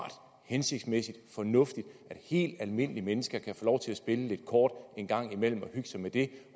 hensigtsmæssigt og fornuftigt at helt almindelige mennesker kan få lov til at spille lidt kort en gang imellem og hygge sig med det